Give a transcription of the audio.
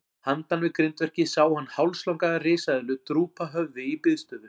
Handan við grindverkið sá hann hálslanga risaeðlu drúpa höfði í biðstöðu.